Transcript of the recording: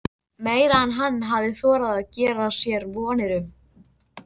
Meira en hann hafði þorað að gera sér vonir um.